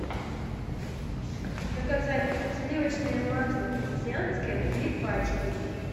заказать сливочное масло крестьянское три пачки